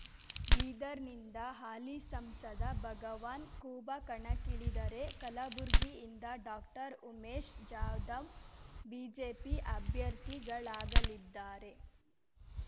ಬೀದರ್‌ನಿಂದ ಹಾಲಿ ಸಂಸದ ಭಗವಾನ್ ಖೂಬಾ ಕಣಕ್ಕಿಳಿದರೆ ಕಲುಬುರ್ಗಿಯಿಂದ ಡಾಕ್ಟರ್ಉಮೇಶ್ ಜಾಧವ್ ಬಿಜೆಪಿ ಅಭ್ಯರ್ಥಿಗಳಾಗಲಿದ್ದಾರೆ